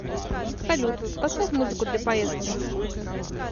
салют поставь музыку для поездки